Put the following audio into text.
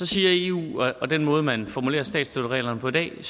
siger eu og den måde man formulerer statsstøttereglerne på i dag